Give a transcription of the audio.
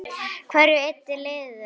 Hverju eyddu liðin?